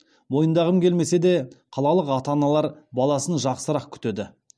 мойындағым келмесе де қалалық ата аналар баласын жақсырақ күтеді